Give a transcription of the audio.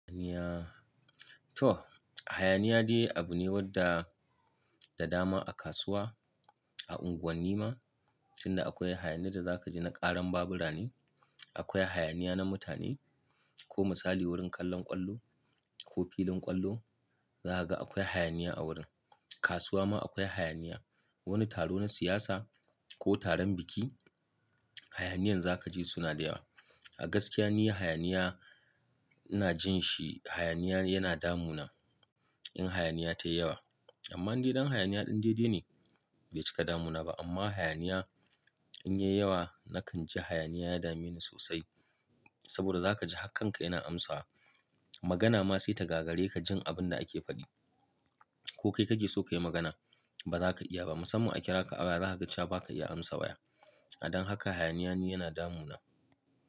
Hayaniya toh hayaniya dai abu ne wadda da dama a kasuwa, a unguwanni ma, tunda akwai hayaniya da za ka ji na ƙaran babura ne. Akwai hayaniya na mutane ko misali wurin kallon ƙwallo ko filin ƙwallo, zahaga akwai hayaniya a wurin. Kasuwa ma akwai hayaniya. Wani taro na siyasa ko taron biki hayaniyan za ka ji suna da yawa. A gaskiya niyya hayaniya ina jin shi hayaniya yana damuna in hayaniya tayi yawa. Amma idan hayaniya ɗin daidai ne bai cika damuna ba amma hayaniya in yayi yawa na kan ji hayaniya ya dame ni sosai. Saboda za ka ji hakkan ka yana amsa wa magana ma sai ta gagare ka jin abin da ake faɗi. Ko kai ka ji so ka yi magana ba za ka iya ba, musamman a kira ka a waya za ka ga cewa ba ka iya amsa waya. A dan haka hayaniya ne yana damuna.